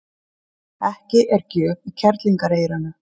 Ekki er gjöf í kerlingareyranu.